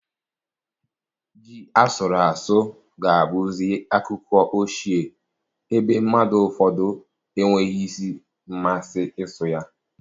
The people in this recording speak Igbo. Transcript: Ji asụrụ asụ ga abụzi akụkọ ochie, ebe mmadụ ụfọdụ enweghịzi mmasị isu ya